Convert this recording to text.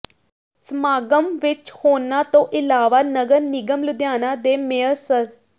ਸਮਾਗਮ ਵਿੱਚ ਹੋਰਨਾਂ ਤੋਂ ਇਲਾਵਾ ਨਗਰ ਨਿਗਮ ਲੁਧਿਆਣਾ ਦੇ ਮੇਅਰ ਸ੍ਰ